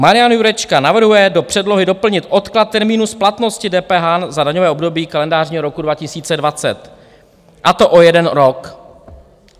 Marian Jurečka navrhuje do předlohy doplnit odklad termínu splatnosti DPH za daňové období kalendářního roku 2020, a to o jeden rok.